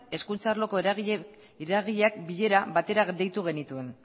hezkuntza arloko eragileak bilera batera deitu genituen